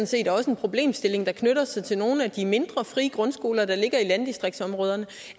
set også en problemstilling der knytter sig til nogle af de mindre frie grundskoler der ligger landdistriktsområderne